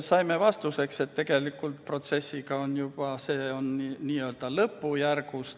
Saime vastuseks, et tegelikult on protsess lõppjärgus.